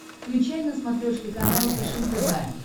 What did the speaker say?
включай на смотрешке канал фэшен тв